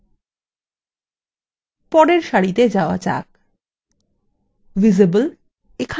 visible ঠিক আছে পরের সারিতে যাওয়া যাক